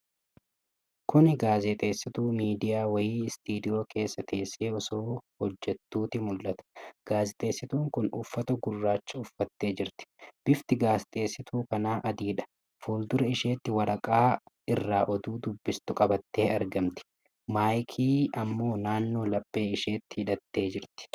Kuni gaazexeessituu miidiyaa wayii istiidiyoo keessa teessee osoo oduu hojjattuuti mul'ata. Gaazexeessituun kun uffata gurraacha uffattee jirti. Bifti gaazexeessituu kanaa adiidha. fuuldura isheetti waraqaa irraa oduu dubbistu qabattee argamti. Maayikii ammoo naannoo laphee isheetti hidhattee jirti.